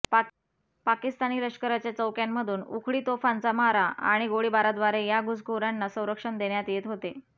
पाकिस्तानी लष्कराच्या चौक्यांमधून उखळी तोफांचा मारा आणि गोळीबाराद्वारे या घुसखोरांना संरक्षण देण्यात येत होते